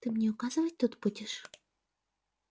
ты мне указывать тут будешь